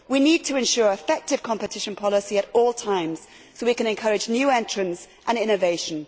We need to ensure effective competition policy at all times so we can encourage new entrants and innovation.